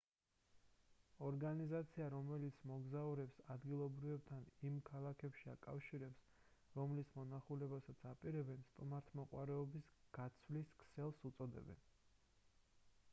ორგანიზაცია რომელიც მოგზაურებს ადგილობრივებთან იმ ქალაქებში აკავშირებს რომლის მონახულებასაც აპირებენ სტუმართმოყვარეობის გაცვლის ქსელს უწოდებენ